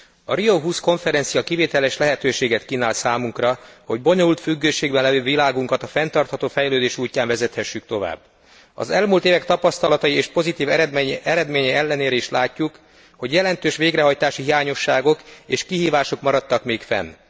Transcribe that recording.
A Rio20 konferencia kivételes lehetőséget kínál számunkra, hogy bonyolult függőségben lévő világunkat a fenntartható fejlődés útján vezethessük tovább. Az elmúlt évek tapasztalatai és pozitív eredménye ellenére is látjuk, hogy jelentős végrehajtási hiányosságok és kihívások maradtak még fenn.